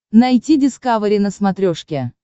найти дискавери на смотрешке